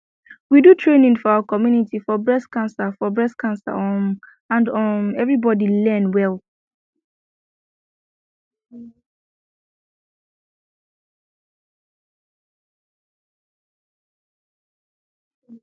we do training for our community for breast cancer for breast cancer um and um everybody learn well